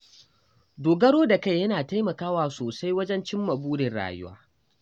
Dogaro da kai yana taimakawa sosai wajen cimma burin rayuwa.